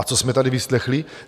A co jsme tady vyslechli!